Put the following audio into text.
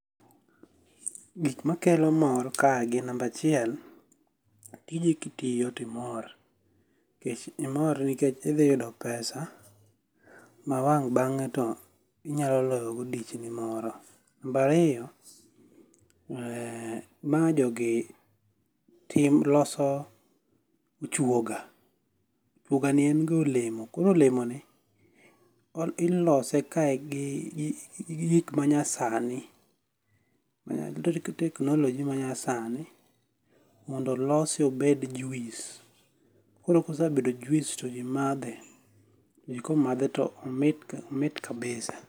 Gik ma kelo mor kae gin, namba achiel, tiji kitiyo to imor. Nikech, imor nikech idhi yudo pesa, ma wang' bangé to inyalo loyo go dichni moro. Namba ariyo, um ma jogi timo, loso ochuoga. Ochuoga ni en ga olemo, koro olemoni ilose kae gi gik ma nyasani technology ma nyasani mondo olose obed juice. Koro kosebedo juice to ji madhe. Ji komadhe to, komadhe to omit kabisa.